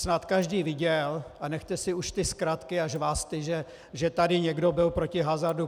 Snad každý viděl - a nechte si už ty zkratky a žvásty, že tady někdo byl proti hazardu.